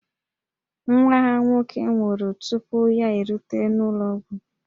Nwa ha nwoke nwụrụ tupu ya erute n'ụlọ ọgwụ